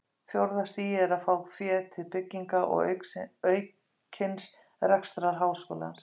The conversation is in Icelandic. Fjórða stigið er að fá féð til bygginga og aukins rekstrar háskólans.